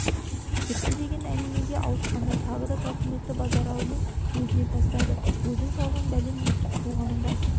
депті деген әңгімеге ауысқанда тағы да тауқыметті базаралының өзіне тастады өзің салған бәлең еркек туғаның рас